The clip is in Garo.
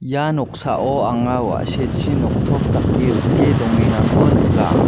ia noksao anga wa·sechi noktop dake rike dongengako nika.